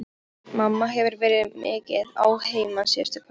Mamma hefur verið mikið að heiman síðustu kvöld.